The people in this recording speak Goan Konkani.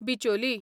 बिचोली